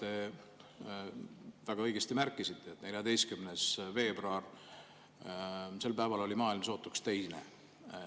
Te väga õigesti märkisite, et 14. veebruaril oli maailm sootuks teine.